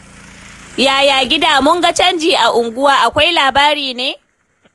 Yaya gida? Mun ga canji a unguwa. Akwai labari ne?